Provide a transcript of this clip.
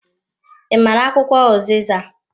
I maara akwụkwọ uziza?